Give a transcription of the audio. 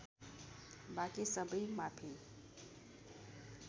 बाँकी सबै माफी